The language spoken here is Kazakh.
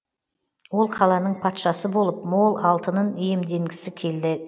ол қаланың патшасы болып мол алтынын иемденгісі келді